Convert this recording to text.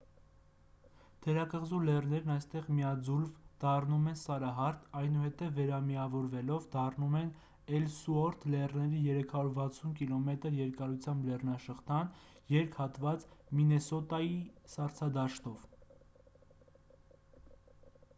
թերակղզու լեռներն այստեղ միաձուլվ դառնում են սարահարթ այնուհետև վերամիավորվելով կազմում են էլսուորթ լեռների 360 կմ երկարությամբ լեռնաշղթան երկհատված մինեսոտայի սառցադաշտով